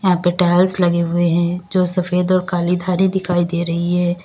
यहां पे टाइल्स लगे हुए हैं जो सफेद और काली धारी दिखाई दे रही है।